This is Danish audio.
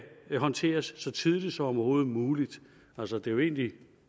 håndteres så tidligt som overhovedet muligt altså det er jo egentlig